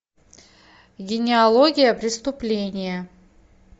генеалогия преступления